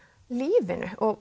lífinu og